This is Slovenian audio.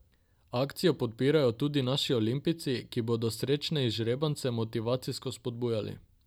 Akcijo podpirajo tudi naši olimpijci, ki bodo srečne izžrebance motivacijsko spodbujali.